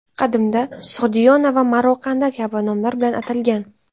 Qadimda Sug‘diyona va Maroqanda kabi nomlar bilan atalgan.